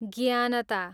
ज्ञानता